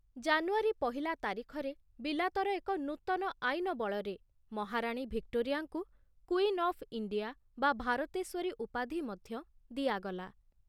ଜାନୁଆରୀ ପହିଲା ତାରିଖରେ ବିଲାତର ଏକ ନୂତନ ଆଇନ ବଳରେ ମହାରାଣୀ ଭିକ୍ଟୋରିଆଙ୍କୁ କୁଇନ୍ ଅଫ୍ ଇଣ୍ଡିଆ ବା ଭାରତେଶ୍ୱରୀ ଉପାଧି ମଧ୍ଯ ଦିଆଗଲା ।